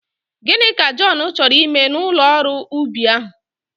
Gịnị ka Jọn chọrọ ime n'ụlọ ọrụ ubi ahụ?